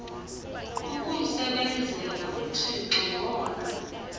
kukumsebenzela uthixo wona